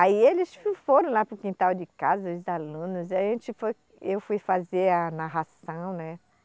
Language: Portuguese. Aí eles foram lá para o quintal de casa, os alunos, e a gente foi, eu fui fazer a narração, né?